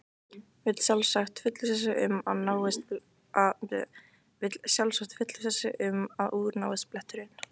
Vill sjálfsagt fullvissa sig um að úr náist bletturinn.